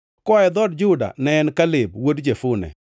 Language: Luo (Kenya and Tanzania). koa e dhood Juda, ne en Kaleb wuod Jefune;